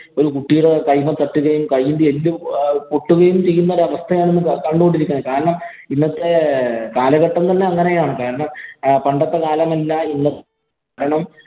ഒരു കുട്ടിയുടെ കൈയുമേ തട്ടുകയും, കൈയിന്‍റെ എല്ല് പൊട്ടുകയും ചെയ്യുന്ന ഒരവസ്ഥയാണ് ഇന്ന് കണ്ടു കൊണ്ടിരിക്കുന്നത്. കാരണം, ഇന്നത്തെ കാലഘട്ടം എന്ന് പറഞ്ഞാ അങ്ങനെയാണ്. കാരണം, പണ്ടത്തെ കാലമല്ല ഇന്ന്